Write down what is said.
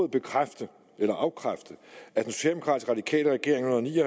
bekræfte eller afkræfte at den socialdemokratisk radikale regering i